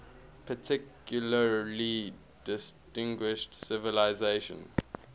particularly distinguished civilization